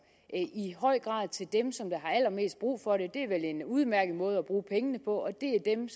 i høj grad til dem som har allermest brug for dem det er vel en udmærket måde at bruge pengene på det er dem